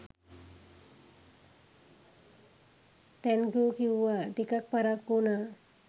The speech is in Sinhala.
තැන්කූ කිව්වා.ටිකක් පරක්කු වුනා.